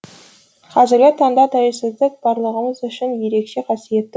қазіргі таңда тәуелсіздік барлығымыз үшін ерекше қасиетті күн